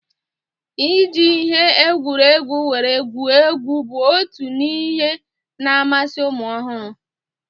Iji ihe egwuregwu were gwuo egwu bụ otu n'ihe na-amasi ụmụ ọhụrụ